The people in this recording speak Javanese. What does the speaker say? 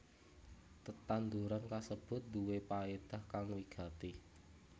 Tetanduran kasebut nduwé paédah kang wigati